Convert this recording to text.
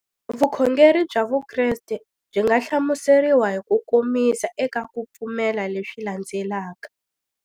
Vukhongeri bya Vukreste byi nga hlamuseriwa hi kukomisa eka ku pfumela leswi landzelaka.